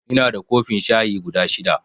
Inada kofin shayi guda shida